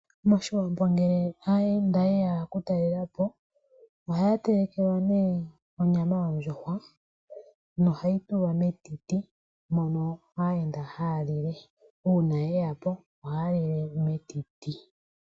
MOshiwambo ngele aayenda ye ya ku talelapo ohaya telekelwa nee onyama yondjuhwa nohayi tulwa metiti mono aayenda haya lile, uuna ye ya po ohaya lile metiti.